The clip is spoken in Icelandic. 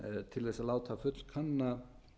til þess að láta fullkanna